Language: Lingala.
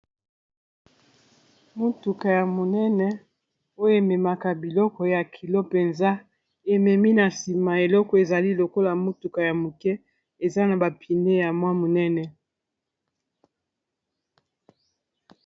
Motuka ya monene oyo ememaka biloko ya kilo mpenza ememi na nsima eleko ezali lokola motuka ya moke eza na ba pine ya mwa monene